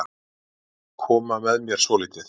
Koma með mér svolítið.